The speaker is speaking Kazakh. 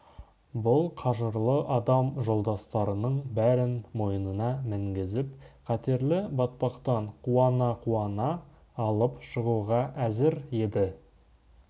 бұл қажырлы адам жолдастарының бәрін мойнына мінгізіп қатерлі батпақтан қуана-қуана алып шығуға әзір еді